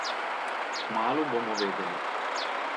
Kmalu bomo vedeli.